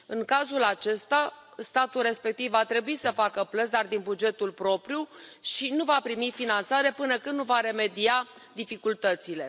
În cazul acesta, statul respectiv va trebui să facă plăți, dar din bugetul propriu, și nu va primi finanțare, până când nu va remedia dificultățile.